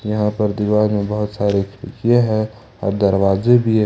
यहां पर दीवार में बहुत सारी खिड़कियां है और दरवाजे भी है ।